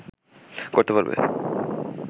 করতে পারবে